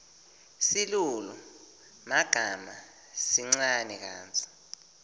silulumagama sincane kantsi